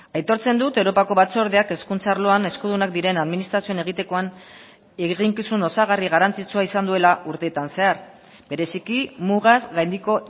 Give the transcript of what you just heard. aitortzen dut europako batzordeak hezkuntza arloan eskudunak diren administrazioen egitekoan eginkizun osagarri garrantzitsua izan duela urteetan zehar bereziki mugaz gaindiko